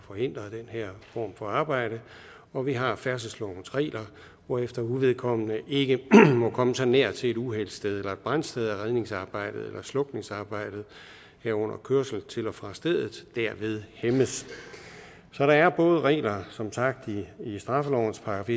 forhindre den her form for arbejde og vi har færdselslovens regler hvorefter uvedkommende ikke må komme så nær til et uheldssted eller et brandsted at redningsarbejdet eller slukningsarbejdet herunder kørsel til og fra stedet derved hæmmes så der er både regler som sagt i straffelovens §